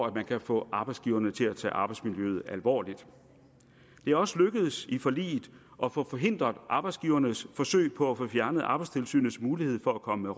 at man kan få arbejdsgiverne til at tage arbejdsmiljøet alvorligt det er også lykkedes i forliget at få forhindret arbejdsgivernes forsøg på at få fjernet arbejdstilsynets mulighed for at komme